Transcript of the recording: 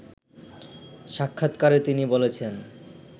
সাক্ষাৎকারে তিনি বলেছেন